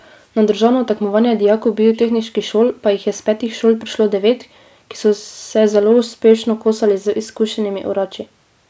Na državno tekmovanje dijakov biotehniških šol pa jih je s petih šol prišlo devet, ki so se zelo uspešno kosali z izkušenimi orači.